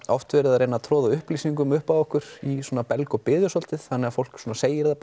oft verið að troða upplýsingum upp á okkur í belg og biðu svolítið þannig að fólk segir það